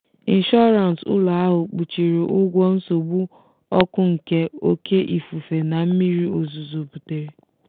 inshọrans ụlọ ahụ kpuchiri ụgwọ nsogbu ọkụ nke oké ifufe na mmiri ozuzo butere.